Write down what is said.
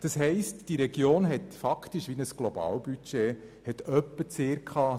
Das heisst, diese Region hat faktisch ein Globalbudget zur Verfügung.